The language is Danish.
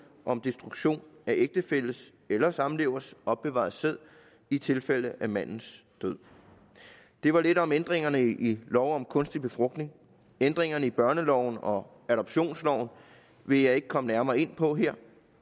om destruktion af ægtefælles eller samlevers opbevarede sæd i tilfælde af mandens død det var lidt om ændringerne i lov om kunstig befrugtning ændringerne i børneloven og adoptionsloven vil jeg ikke komme nærmere ind på her